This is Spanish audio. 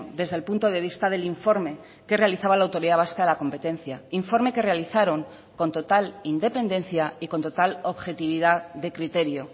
desde el punto de vista del informe que realizaba la autoridad vasca de la competencia informe que realizaron con total independencia y con total objetividad de criterio